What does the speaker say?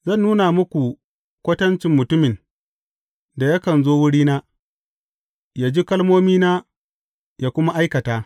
Zan nuna muku kwatancin mutumin da yakan zo wurina, yă ji kalmomina, yă kuma aikata.